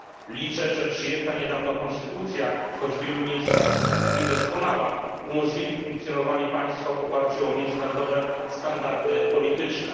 Liczę, że przyjęta niedawno konstytucja, choć w wielu miejscach niedoskonała, umożliwi funkcjonowanie państwa w oparciu o międzynarodowe standardy polityczne.